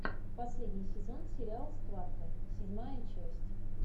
последний сезон сериала схватка седьмая часть